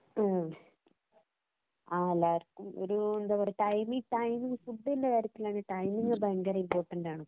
ഓ, എല്ലാവര്‍ക്കും ഒരു എന്താ പറയ്ക ടൈമിംഗ് ടൈമിംഗ് ഫുഡിന്‍റെ കാര്യത്തിലും ടൈമിംഗ് ഭയങ്കര ഇമ്പോര്‍ട്ടന്‍റ് ആണ്.